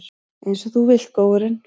Einsog þú vilt, góurinn.